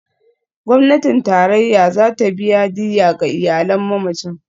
Gwamnatin Tarayya za ta biya diyya ga iyalan mamacin.